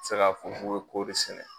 Tɛ se ka fɔ k'o bɛ kɔɔri sɛnɛ.